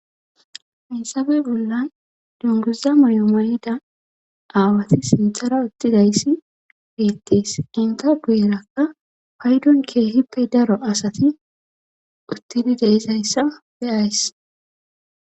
Hinsabe bolla dunguza mayomayida aawati sintara uttidayssi bettees ginta bu'erakka paydon keehippe daro asati uttidi deizayssa beyays.